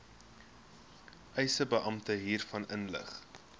eisebeampte hiervan inlig